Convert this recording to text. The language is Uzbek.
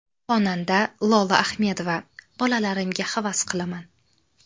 Xonanda Lola Ahmedova: Bolalarimga havas qilaman.